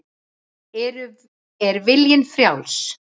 Er viljinn frjáls?